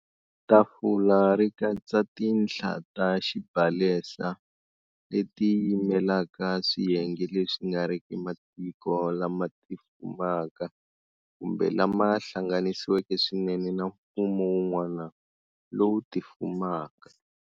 Tafula ri katsa tinhla ta xibalesa leti yimelaka swiyenge leswi nga riki matiko lama tifumaka kumbe lama hlanganisiweke swinene na mfumo wun'wana lowu tifumaka.